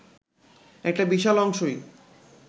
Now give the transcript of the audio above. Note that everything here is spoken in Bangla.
একটা বিশাল অংশই